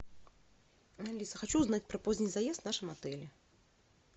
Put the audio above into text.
алиса хочу узнать про поздний заезд в нашем отеле